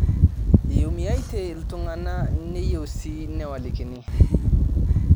Eumiate ilntung'ana neyieu sii newalikini